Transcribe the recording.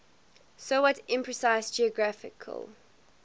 somewhat imprecise geographical